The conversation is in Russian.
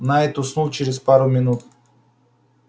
найд уснул через пару минут